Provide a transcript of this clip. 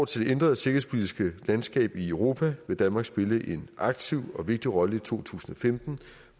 til det ændrede sikkerhedspolitiske landskab i europa vil danmark spille en aktiv og vigtig rolle i to tusind og femten